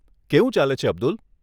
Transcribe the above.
કેવું ચાલે છે અબ્દુલ?